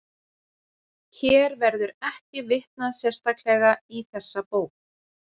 Hér verður ekki vitnað sérstaklega í þessa bók.